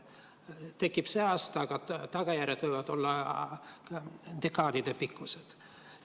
See tekib sel aastal, aga tagajärjed võivad olla dekaadidepikkused.